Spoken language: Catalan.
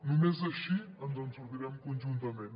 només així ens en sortirem conjuntament